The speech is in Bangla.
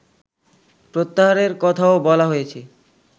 প্রত্যাহারের কথাও বলা হয়েছে